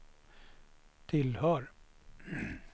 tillhör